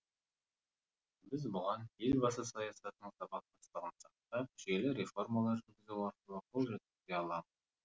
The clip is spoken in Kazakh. біз бұған елбасы саясатының сабақтастығын сақтап жүйелі реформалар жүргізу арқылы қол жеткізе аламыз